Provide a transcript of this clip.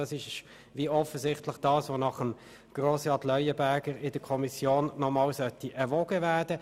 Nach Auffassung von Grossrat Leuenberger soll das offenbar noch einmal in der Kommission erwogen werden.